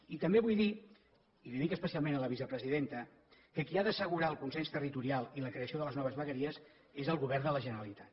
i també vull dir i li ho dic especialment a la vicepresidenta que qui ha d’assegurar el consens territorial i la creació de les noves vegueries és el govern de la generalitat